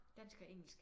Dansk og engelsk